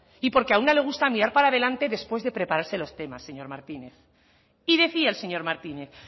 y porque a una le gusta mirar para adelante después de prepararse los temas señor martínez y decía el señor martínez